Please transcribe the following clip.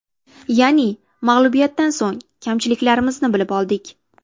Ya’ni mag‘lubiyatdan so‘ng kamchiliklarimizni bilib oldik.